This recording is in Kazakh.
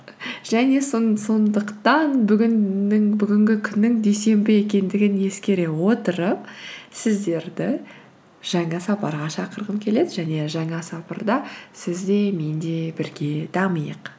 және сондықтан бүгінгі күннің дүйсенбі екендігін ескере отырып сіздерді жаңа сапарға шақырғым келеді және жаңа сапарда сіз де мен де бірге дамиық